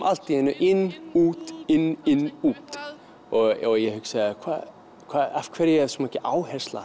allt í einu inn út inn inn út ég hugsaði af hverju er svona mikil áhersla